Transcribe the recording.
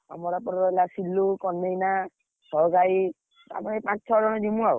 ଆମର ଏପଟରେ ହେଲା ସିଲୁ, ଭାଇ, ପାଞ୍ଚ ଛଅ ଜଣ ଯିବୁ ଆଉ।